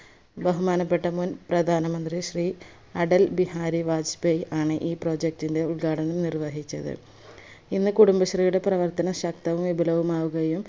ബഹുമാനപ്പെട്ട മുൻ പ്രധാന മന്ത്രി ശ്രീ അടൽ ബിഹാരി ബാജ്പയീ ആണ് ഈ project ന്റെ ഉൽഘടനം നിർവഹിച്ചത് ഇന്ന് കുടുംബശ്രീയുടെ പ്രവർത്തനം ശക്തവും വിപുലവും ആവുകായും